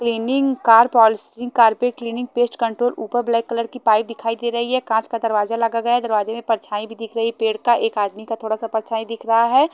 Training car policy car पे cleaning pest control ऊपर black colour की पाइप दिखाई दे रही है कांच का दरवज़ा लागा गया है दरवाज़े में परछाई दिख रही पेड़ का एक आदमी का थोड़ा सा परछाई दिख रहा है।